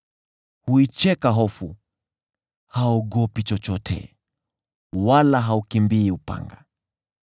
Huicheka hofu, haogopi chochote, wala haukimbii upanga.